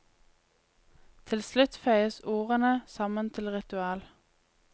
Til slutt føyes ordene sammen til ritual.